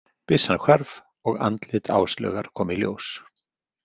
Byssan hvarf og andlit Áslaugar kom í ljós.